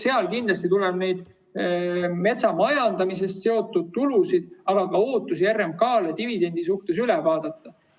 Seal kindlasti tuleb need metsamajandamisega seotud tulud, aga ka ootused RMK‑le dividendi suhtes üle vaadata.